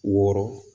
Wɔɔrɔ